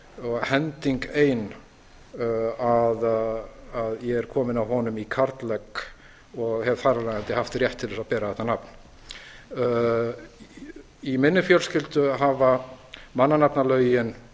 og hending ein að ég er kominn af honum í karllegg og hef þar af leiðandi haft rétt til að bera þetta nafn í minni fjölskyldu hafa mannanafnalögin